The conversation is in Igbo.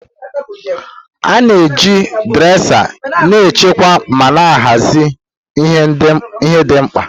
A na-eji dresa na-echekwa ma hazie ihe ndị dị mkpa.